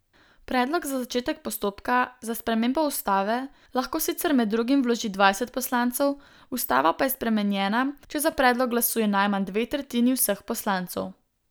Predlog za začetek postopka za spremembo ustave lahko sicer med drugim vloži dvajset poslancev, ustava pa je spremenjena, če za predlog glasuje najmanj dve tretjini vseh poslancev.